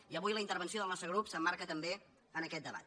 i avui la intervenció del nostre grup s’emmarca també en aquest debat